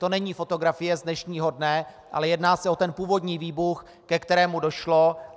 To není fotografie z dnešního dne, ale jedná se o ten původní výbuch, ke kterému došlo.